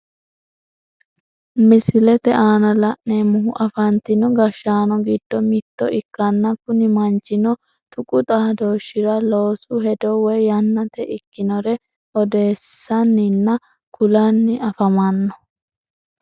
Misilete aanna la'neemohu afantino gashaano gido mitto ikkanna kunni manchino tuqu xaadooshira loosu hedo woyi yannate ikinore odeessanninna kulanni afamano.